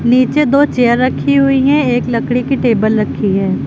नीचे दो चेयर रखी हुई है एक लकड़ी की टेबल रखी है।